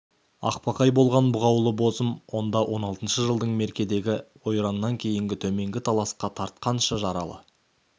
ақбақай болған бұғаулы бозым онда он алтыншы жылдың меркедегі ойранынан кейін төменгі таласқа тартқанша жаралы